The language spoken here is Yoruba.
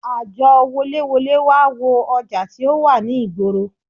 Àjọ woléwolé wá wo ọjà tí ó wà ní ìgboro